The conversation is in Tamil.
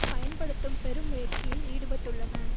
பயன்படுத்தும் பெருமுயற்சியில் ஈடுபட்டுள்ளன